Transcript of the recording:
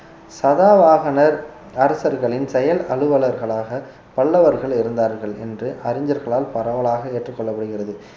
சதாவாகனர் அரசர்களின் செயல் அலுவலர்களாக பல்லவர்கள் இருந்தார்கள் என்று அறிஞர்களால் பரவலாக ஏற்றுக்கொள்ளப்படுகிறது